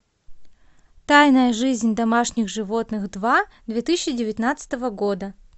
тайная жизнь домашних животных два две тысячи девятнадцатого года